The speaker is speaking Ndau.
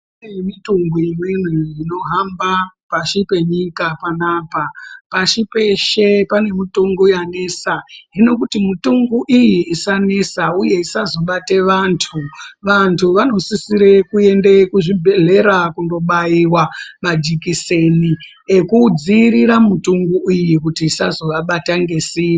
Kune mutungu imweni inohamba pashi penyika panapa. Pashi peshe, pane mutungu yanesa. Hino kuti mutungu iyi isanesa uye isazobate vanthu, vanthu vanosisre kuenda kuzvibhedhlera kundobaiwa majekiseni ekudzivirira mutungu iyi kuti isazovabata ngesimba.